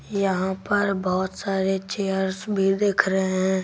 यहां पर बहुत सारे चेयर्स भी दिख रहे हैं।